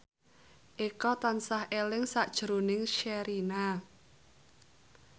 Eko tansah eling sakjroning Sherina